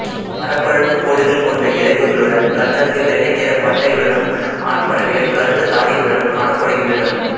மரப்பழுப்புக் கோடுகள் கொண்ட இறகுகளுடன் கண்ணருகே வெள்ளை நிறப் பட்டையுடனும் ஆண் பறவைகள் கருத்த தாடையுடனும் காணப்படுகின்றன